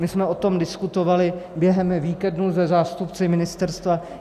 My jsme o tom diskutovali během víkendu se zástupci ministerstva.